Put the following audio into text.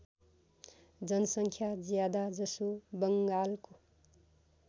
जनसङ्ख्या ज्यादाजसो बङ्गालको